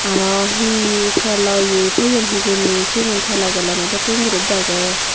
aro he telo ye toyon hijeni sigun telo galano dokken guri dage.